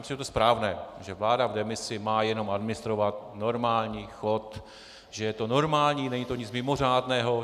Myslím, že je to správné, že vláda v demisi má jenom administrovat normální chod, že je to normální, není to nic mimořádného.